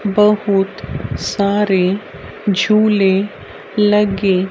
बहुत सारे झूले लगे--